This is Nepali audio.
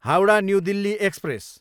Howrah, new Delhi express